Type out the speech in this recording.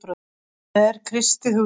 Það er kristið hugtak.